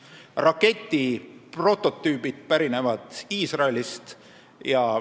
Raketi prototüübid pärinevad Iisraelist.